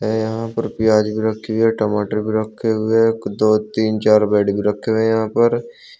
यहां पर प्याज भी रखी है टमाटर भी रखे हुए है एक दो तीन चार बेड भी रखे हैं यहां पर।